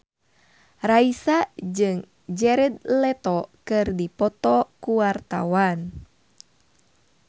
Raisa jeung Jared Leto keur dipoto ku wartawan